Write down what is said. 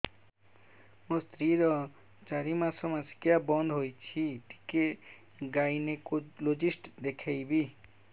ମୋ ସ୍ତ୍ରୀ ର ଚାରି ମାସ ମାସିକିଆ ବନ୍ଦ ହେଇଛି ଟିକେ ଗାଇନେକୋଲୋଜିଷ୍ଟ ଦେଖେଇବି